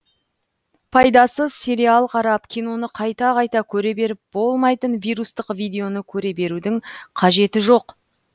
пайдасыз сериал қарап киноны қайта қайта көре беріп болмайтын вирустық видеоны көре берудің қажеті жоқ